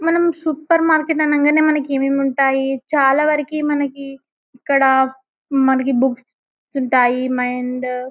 మనం supermarket అనంగానే మనకు ఏమేమి ఉంటాయి చాలావరకు మనకి ఇక్కడ మనకి బుక్స్ ఉంటాయి అండ్ --